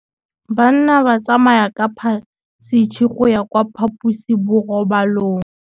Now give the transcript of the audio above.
Bana ba tsamaya ka phašitshe go ya kwa phaposiborobalong.